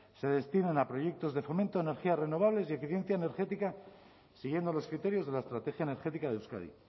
se destinen a proyectos de fomento de energías renovables y eficiencia energética siguiendo los criterios de la estrategia energética de euskadi